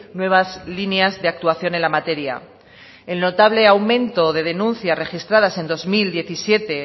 nuevas líneas de actuación en la materia el notable aumento de denuncias registradas en dos mil diecisiete